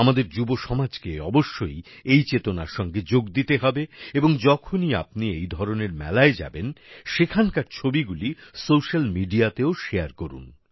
আমাদের যুবসমাজকে অবশ্যই এই চেতনার সঙ্গে যোগ দিতে হবে এবং যখনই আপনি এই ধরনের মেলায় যাবেন সেখানকার ছবিগুলি সোশ্যাল মিডিয়াতেও শেয়ার করুন